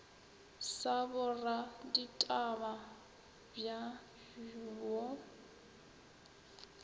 sa boraditaba bj bj wo